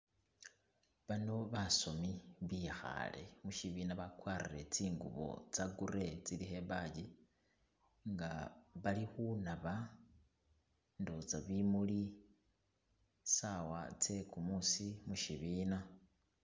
Baano basomi bikhaale mushibina bakwarire tsingubo tsa grey, tsilikho ibaji nga bali khunaba nduwoza bimuli , saawa tse kumuusi mushibina.